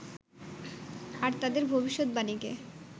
আর তাদের ভবিষ্যত বাণীকে